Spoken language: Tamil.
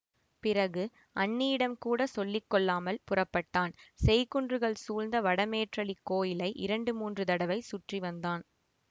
பிறகு அண்ணியிடம் கூட சொல்லி கொள்ளாமல் புறப்பட்டான் செய்குன்றுகள் சூழ்ந்த வடமேற்றளிக் கோயிலை இரண்டு மூன்று தடவை சுற்றி வந்தான்